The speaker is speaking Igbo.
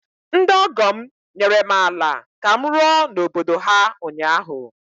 ndị ọgọ m nyere m ala ka m rụọ n’obodo ha ụnyahụ